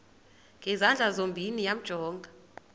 ngezandla zozibini yamjonga